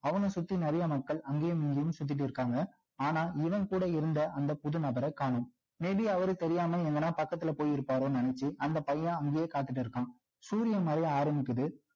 அவன சுத்தி நிறைய மக்கள் அங்கயும் இங்கயும் சுத்திட்டு இருக்காங்க ஆனா இவன் கூட இருந்த அந்த புது நபர காணோம் may be அவரு தெரியாம எங்கனா பக்கத்துல போயிருப்பாரோ நினைச்சி அந்த பையன் அங்கயே கார்த்திட்டு இருக்கான் சூரியன் மறைய ஆரம்பிக்குது